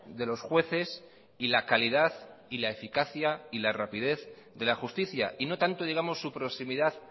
de los jueces y la calidad y la eficacia y la rapidez de la justicia y no tanto digamos su proximidad